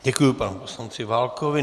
Děkuji panu poslanci Válkovi.